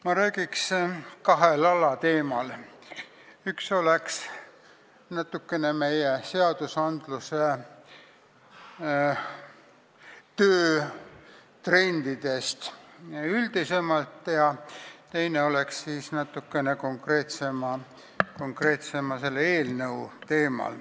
Ma räägiks natuke kahel alateemal: esiteks meie seadusandluse trendidest üldisemalt ja teiseks konkreetsemal teemal ehk sellest eelnõust.